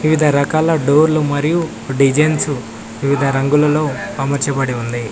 వివిధ రకాల డోర్లు మరియు డిజైన్సు వివిధ రంగులలో అమర్చబడి ఉంది.